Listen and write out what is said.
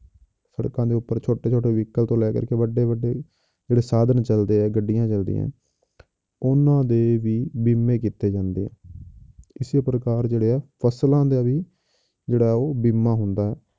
ਸੜਕਾਂ ਦੇ ਉੱਪਰ ਛੋਟੇ ਛੋਟੇ vehicle ਤੋਂ ਲੈ ਕੇ ਵੱਡੇ ਵੱਡੇ ਜਿਹੜੇ ਸਾਧਨ ਚੱਲਦੇ ਹੈ, ਗੱਡੀਆਂ ਚੱਲਦੀਆਂ ਉਹਨਾਂ ਦੇ ਵੀ ਬੀਮੇ ਕੀਤੇ ਜਾਂਦੇ ਹੈ ਇਸੇ ਪ੍ਰਕਾਰ ਜਿਹੜੇ ਹੈ ਫਸਲਾਂ ਦੇ ਵੀ ਜਿਹੜਾ ਉਹ ਬੀਮਾ ਹੁੰਦਾ ਹੈ